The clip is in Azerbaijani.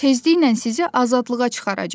Tezliklə sizi azadlığa çıxaracaq.